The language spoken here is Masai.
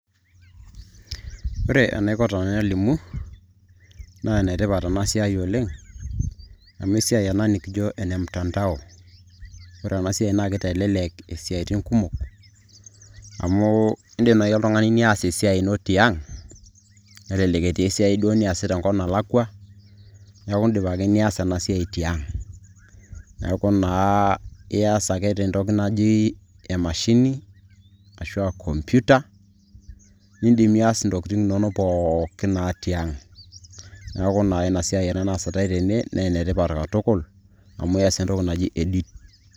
Ore enaiko tenalimu naa enetipat ena siai oleng' amu esiai ena nikijo ene mtandao ore ena siai naa kitelelek isiaitin kumok amu iindim naai oltung'ani nias esai ino tiang' nelelek etii esiai duo naisita enelakwa neeku iindim ake niaas ina siai tiang'. Neeku naa iaas ake tentoki naji emashini ashu computer iindim niaas isiaitin inonok pookin naa tiang', neeku ina siai eesitai tene.